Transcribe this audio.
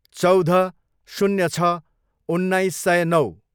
चौध, शून्य छ, उन्नाइस सय नौ